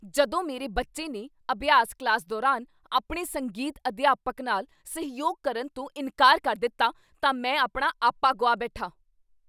ਜਦੋਂ ਮੇਰੇ ਬੱਚੇ ਨੇ ਅਭਿਆਸ ਕਲਾਸ ਦੌਰਾਨ ਆਪਣੇ ਸੰਗੀਤ ਅਧਿਆਪਕ ਨਾਲ ਸਹਿਯੋਗ ਕਰਨ ਤੋਂ ਇਨਕਾਰ ਕਰ ਦਿੱਤਾ ਤਾਂ ਮੈਂ ਆਪਣਾ ਆਪਾ ਗੁਆ ਬੈਠਾ।